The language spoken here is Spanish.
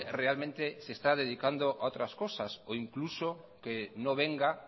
realmente se está dedicando a otras cosas o incluso que no venga